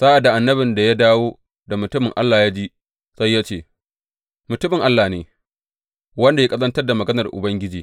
Sa’ad da annabin da ya dawo da mutumin Allah ya ji, sai ya ce, Mutumin Allah ne, wanda ya ƙazantar da maganar Ubangiji.